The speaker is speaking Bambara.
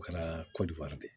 U kana